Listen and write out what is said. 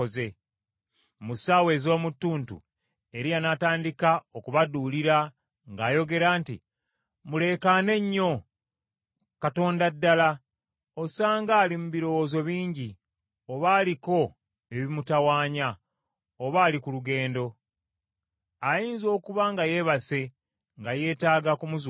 Mu ssaawa ez’omu ttuntu Eriya n’atandika okubaduulira, ng’ayogera nti, “Muleekaane nnyo! Katonda ddala! Osanga ali mu birowoozo bingi, oba aliko ebimutawaanya, oba ali ku lugendo. Ayinza okuba nga yeebase, nga yeetaaga kumuzuukusa.”